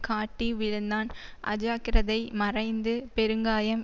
காட்டி விழுந்தான் அஜாக்கிரதை மறைந்து பெருங்காயம்